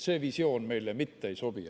See visioon meile mitte ei sobi.